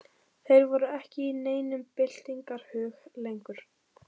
Þeir voru ekki í neinum byltingarhug lengur.